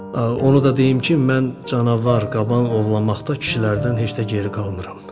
Onu da deyim ki, mən canavar, qaban ovlamaqda kişilərdən heç də geri qalmıram.